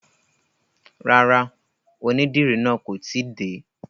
Rárá, onídìrí náà kò tíì dé.